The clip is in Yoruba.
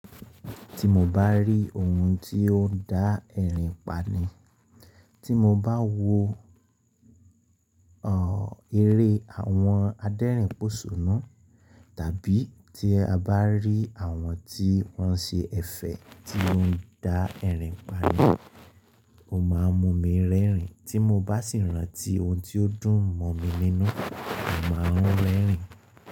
Tí mo bá rí ohun tí ó ń dá ẹ̀rín pani, tí mo bá wo eré àwọn adẹ́rìn pòṣoná tàbí tí a bá rí àwọn tí wọ́n ṣe ẹ̀fẹ̀ tí ó ń dá ẹ̀rín pani, ó máa n mú mi rẹ́rìn. Tí mo bá sì rántí ohun tí ó dún mọ́ mi nínú, mo màá n rẹ́rìn.